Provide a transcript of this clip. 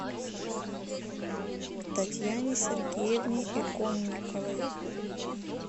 татьяне сергеевне иконниковой